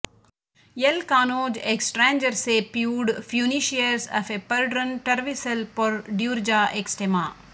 L ಕಾನೋಜ್ ಎಕ್ಸ್ಟ್ರಾಂಜರ್ ಸೆ ಪ್ಯೂಡ್ ಫ್ಯೂನಿಷಿಯರ್ಸ್ ಆಫ್ ಎ ಪರ್ಡ್ರನ್ ಟರ್ವಿಸಲ್ ಪೊರ್ ಡ್ಯೂರ್ಜಾ ಎಕ್ಸ್ಟೆಮಾ